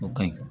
O ka ɲi